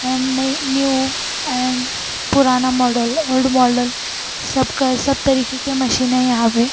And नए new and पुराना model old model सब क सब तरीके के मशीन है यहां पे।